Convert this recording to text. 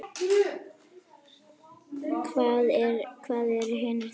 Hvað eru hinir þá?